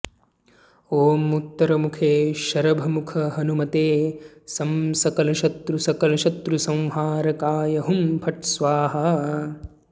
ॐ उत्तरमुखे शरभमुखहनुमते सं सकलशत्रुसकलशत्रुसंहारकाय हुं फट् स्वाहा